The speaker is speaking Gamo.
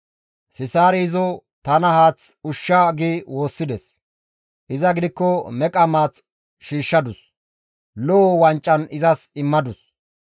Sisaari izo, ‹Tana haath ushsha› gi woossides; iza gidikko meqa maath shiishshadus; lo7o wancan izas immadus.